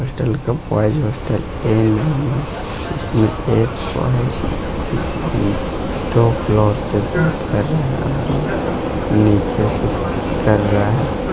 Hostel का boys hostel से बात कर रहा है और एक नीचे से बात कर रहा है।